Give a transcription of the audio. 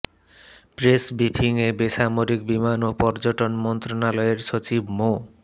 press ব্রিফিংয়ে বেসামরিক বিমান ও পর্যটন মন্ত্রণালয়ের সচিব মো